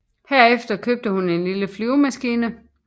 Herefter købte hun en lille flyvemaskine